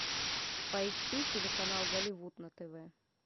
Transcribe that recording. поищи телеканал голливуд на тв